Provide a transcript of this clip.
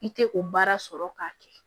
I tɛ o baara sɔrɔ k'a kɛ